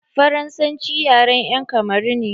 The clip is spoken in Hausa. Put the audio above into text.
Faransanci yaren 'yan kamaru ne.